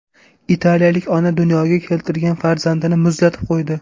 Italiyalik ona dunyoga keltirgan farzandini muzlatib qo‘ydi.